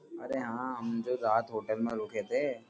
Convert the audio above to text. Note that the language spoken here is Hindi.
अरे हाँ हम जो रात होटल मे रुके थे।